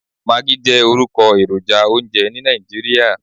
Maggi jẹ́ orúkọ èròjà oúnjẹ ní Nàìjíríà.